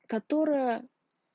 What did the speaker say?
которая